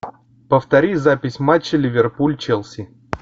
повтори запись матча ливерпуль челси